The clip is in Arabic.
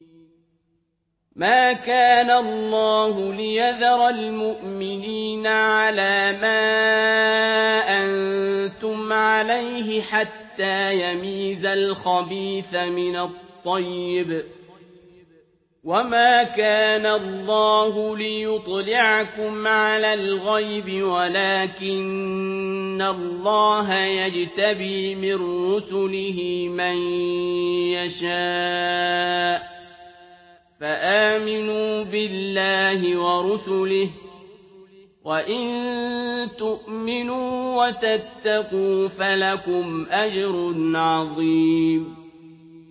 مَّا كَانَ اللَّهُ لِيَذَرَ الْمُؤْمِنِينَ عَلَىٰ مَا أَنتُمْ عَلَيْهِ حَتَّىٰ يَمِيزَ الْخَبِيثَ مِنَ الطَّيِّبِ ۗ وَمَا كَانَ اللَّهُ لِيُطْلِعَكُمْ عَلَى الْغَيْبِ وَلَٰكِنَّ اللَّهَ يَجْتَبِي مِن رُّسُلِهِ مَن يَشَاءُ ۖ فَآمِنُوا بِاللَّهِ وَرُسُلِهِ ۚ وَإِن تُؤْمِنُوا وَتَتَّقُوا فَلَكُمْ أَجْرٌ عَظِيمٌ